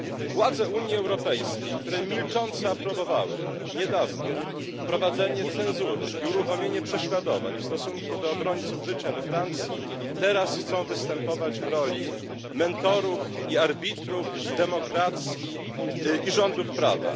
Władze Unii Europejskiej, które milcząco aprobowały niedawno wprowadzenie cenzury i uruchomienie prześladowań w stosunku do obrońców życia we Francji, teraz chcą występować w roli mentorów i arbitrów demokracji i rządów prawa.